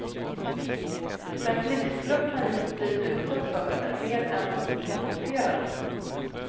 Den blixtflört han just blivit utsatt för är mer än han kan hantera.